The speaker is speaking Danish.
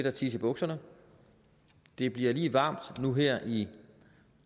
at tisse i bukserne det bliver lige varmt nu her i